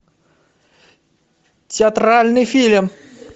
театральный фильм